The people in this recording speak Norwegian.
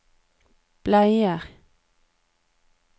bleier